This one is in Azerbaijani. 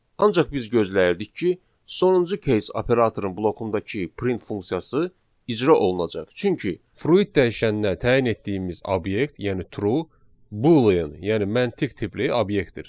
Ancaq biz gözləyirdik ki, sonuncu case operatorun bloqundakı print funksiyası icra olunacaq, çünki fruit dəyişəninə təyin etdiyimiz obyekt, yəni true boolean, yəni məntiq tipli obyektdir.